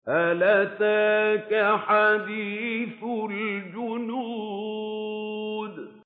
هَلْ أَتَاكَ حَدِيثُ الْجُنُودِ